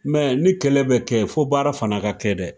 ni kɛlɛ be kɛ, fo baara fana ka kɛ dɛ.